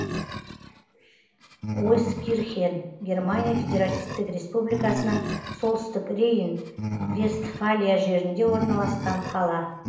ойскирхен германия федеративтік республикасының солтүстік рейн вестфалия жерінде орналасқан қала